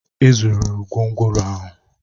E zụrụ gwongworo ahụ